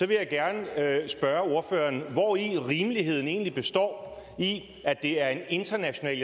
vil jeg gerne spørge ordføreren hvori rimeligheden egentlig består at det er en international